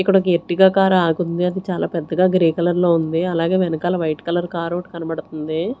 ఇక్కడ ఒక Ertiga car ఆగి ఉంది అది చాలా పెద్దగా గ్రే కలర్ లో ఉంది అలాగే వెనకాల వైట్ కలర్ కార్ ఓటి కనబడుతుంది.